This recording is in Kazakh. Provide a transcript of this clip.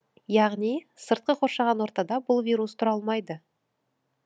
яғни сыртқы қоршаған ортада бұл вирус тұра алмайды